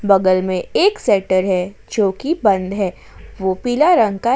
बगल में एक सेटर है जो कि बंद है वो पीला रंग का--